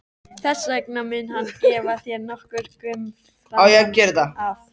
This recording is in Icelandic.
Þess vegna mun hann gefa þér nokkurn gaum framan af.